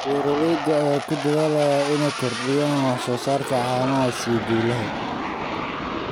Beeralayda ayaa ku dadaalaya inay kordhiyaan wax soo saarka caanaha si guul leh.